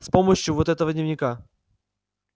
с помощью вот этого дневника